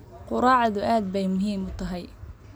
Quraacdu aad bay muhiim u tahay.